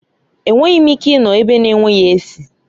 Enweghị m ike ịnọ ebe na-enweghị esị